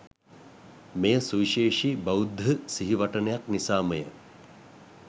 මෙය සුවිශේෂී බෞද්ධ සිහිවටනයක් නිසාම ය.